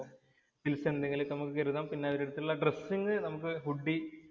Pills എന്തെങ്കിലും ഒക്കെ നമുക്ക് കരുതാം. പിന്നെ അവരുടെ അടുത്തുള്ള ഡ്രസ്സിങ്ങ് നമുക്ക് ഹുഡി